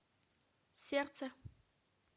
сердце